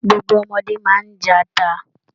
Gbogbo ọmọde máa n jẹ ata.